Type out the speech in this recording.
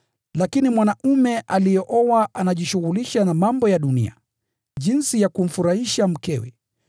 Lakini mwanaume aliyeoa anajishughulisha na mambo ya dunia, jinsi ya kumfurahisha mkewe,